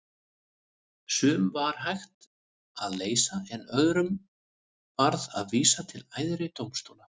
Sum var hægt að leysa en öðrum varð að vísa til æðri dómstóla.